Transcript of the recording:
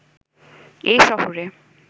এ শহরে